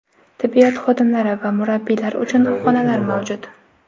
Tibbiyot xodimlari va murabbiylar uchun xonalar mavjud.